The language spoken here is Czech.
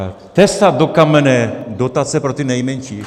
Tesat do kamene dotace pro ty nejmenší.